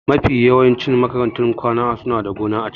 Mafi yawancin makarantun kwana suna da gona a ciki.